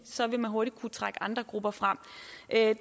så vil man hurtigt kunne trække andre grupper frem